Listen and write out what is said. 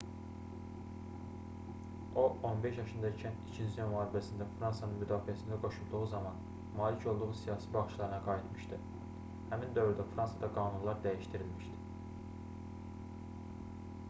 o 15 yaşında ikən i̇kinci dünya müharibəsində fransanın müdafiəsinə qoşulduğu zaman malik olduğu siyasi baxışlarına qayıtmışdı. həmin dövrdə fransada qanunlar dəyişdirilmişdi